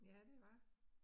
Ja det var